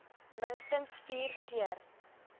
minstens vier keer